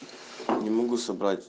не могу собрать